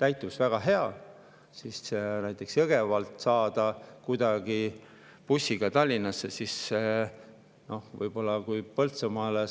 täituvus on väga hea, aga näiteks Jõgevalt bussiga Tallinnasse saada.